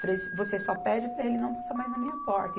Falei, você só pede para ele não passar mais na minha porta.